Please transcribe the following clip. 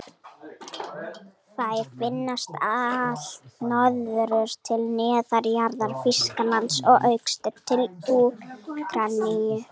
Þær finnast allt norður til norðurhéraða Þýskalands og austur til Úkraínu.